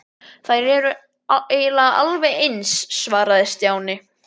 Þær eru eiginlega alveg eins svaraði Stjáni.